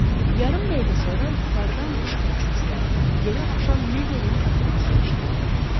Yarım dəqiqə sonra yuxarıdan qışqırıq səsləri, yerə aşan mebelin tappıltısı eşidildi.